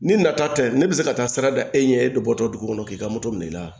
Ni nata tɛ ne bɛ se ka taa sira da e ɲɛ e de bɔtɔ dugu kɔnɔ k'i ka moto minɛ i la